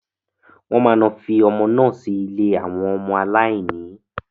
Wọ́n máa lọ fi ọmọ naa sí ilé àwọn ọmọ aláìníyà.